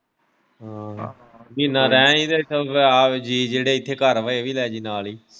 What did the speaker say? ਹਮ ਮਹੀਨਾ ਰਹਿ ਆਂਵੀ ਤੇ ਆ ਜੀਅ ਜਿਹੜੇ ਇੱਥੇ ਘਰ ਹੈ ਇਹ ਵੀ ਲੈ ਜੀ ਨਾਲ ਹੀ।